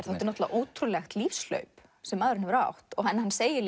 þetta er ótrúlegt lífshlaup sem maðurinn hefur átt hann segir